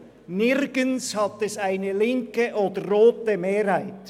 Nirgends hat es eine linke oder rote Mehrheit.